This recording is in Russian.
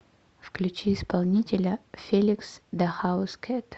включи исполнителя феликс да хаускэт